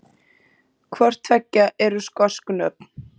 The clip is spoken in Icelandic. Hvort tveggja eru skosk nöfn.